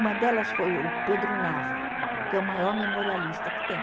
Uma delas foi o Pedro Nava, que é o maior memorialista que tem.